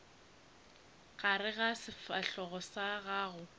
gare ga sefahlogo sa gago